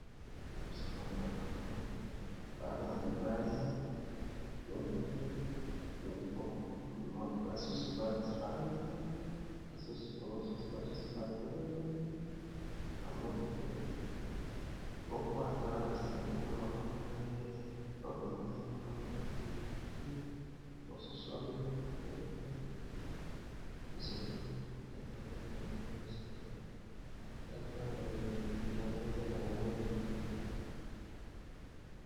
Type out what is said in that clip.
Libosonanga na moni bana ya mibali mingi basusu bafanli mosusu basusu batelemi namoni mpe moko aza sendi na maboko na ye obeekana moka lopute ekute mosusu wa mili fobi zolonde na moni bangoli boso nanga plat pana na bilamba eza na balangi mingi